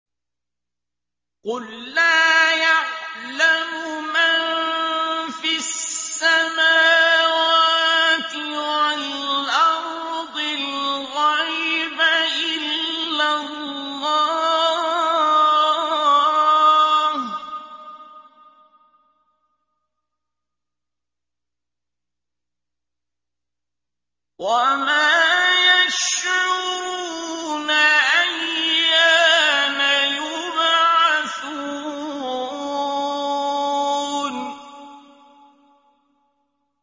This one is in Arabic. قُل لَّا يَعْلَمُ مَن فِي السَّمَاوَاتِ وَالْأَرْضِ الْغَيْبَ إِلَّا اللَّهُ ۚ وَمَا يَشْعُرُونَ أَيَّانَ يُبْعَثُونَ